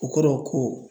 O kɔrɔ ko